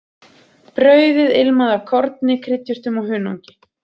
Brauðið ilmaði af korni, kryddjurtum og hunangi.